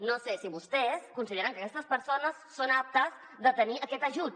no sé si vostès consideren que aquestes persones són aptes de tenir aquest ajut